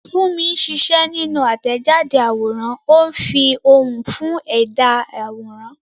Funmi ń ṣiṣẹ́ nínú àtẹ̀jáde àwòrán, ó ń fi ohùn fún ẹ̀dá àwòrán àwòrán.